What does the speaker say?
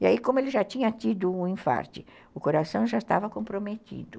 E aí, como ele já tinha tido um infarte, o coração já estava comprometido.